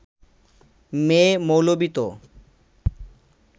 মেয়ে-মৌলবি তো